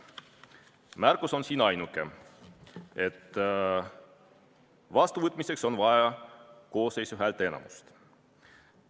Ainuke märkus on siin, et vastuvõtmiseks on vaja koosseisu häälteenamust.